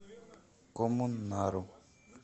коммунару